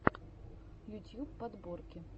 ютьюб подборки